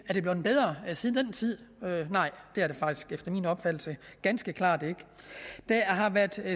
er det blevet bedre siden den tid nej det er det faktisk efter min opfattelse ganske klart ikke